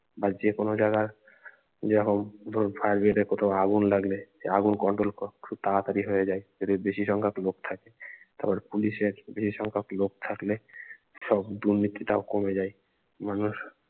বা যেকানো জায়গার যেরকম ধরুন fire brigade কোথাও আগুন লাগলে এ আগুন control ক খুব তাড়াতাড়ি হয়ে যায় যদি বেশি সংখ্যক লোক থাকে তারপরে পুলিশের বেশি সংখ্যক লোক থাকলে সব দুর্নীতি টাও কমে যায় মানুষ